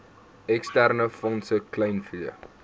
eksterne fondse kleinvee